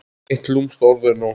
Eitt lúmskt orð er nóg.